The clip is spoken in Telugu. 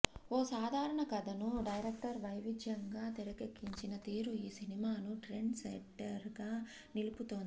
ఓ సాధారణ కథను డైరెక్టర్ వైవిధ్యంగా తెరకెక్కించిన తీరు ఈ సినిమాను ట్రెండ్ సెట్టర్గా నిలుపుతోంది